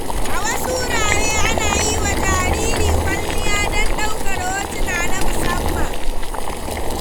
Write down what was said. A wasu wurare, ana yi wa jariri kwalliya don ɗaukar hotuna na musamman.